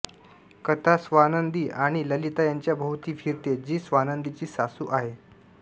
कथा स्वानंदी आणि ललिता यांच्याभोवती फिरते जी स्वानंदीची सासू आहे